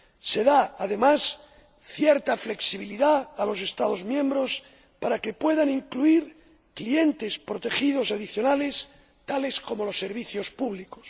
Se da, además, cierta flexibilidad a los Estados miembros para que puedan incluir clientes protegidos adicionales, tales como los servicios públicos.